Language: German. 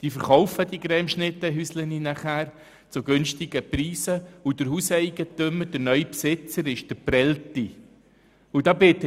Sie verkaufen diese «Cremeschnitten-Häuser» zu günstigen Preisen und der neue Besitzer ist der Geprellte.